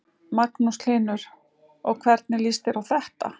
Magnús Hlynur: Og hvernig líst þér á þetta?